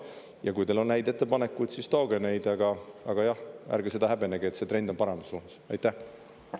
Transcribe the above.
Ja kui teil on häid ettepanekuid, siis tooge neid, aga, jah, ärge seda häbenege, et see trend on paremuse suunas.